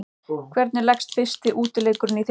Hvernig leggst fyrsti útileikurinn í þjálfarann?